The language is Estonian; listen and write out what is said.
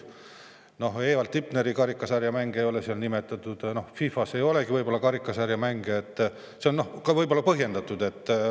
Näiteks Evald Tipneri karika sarja mänge ei ole seal nimetatud, FIFA‑s ei olegi võib-olla karikasarja mänge, nii et see on võib-olla põhjendatud.